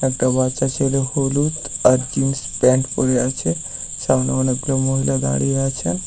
একটা বাচ্চা ছেলে হলুদ আর জিন্স প্যান্ট পরে আছে । সামনে অনেকগুলো মহিলা দাঁড়িয়ে আছে।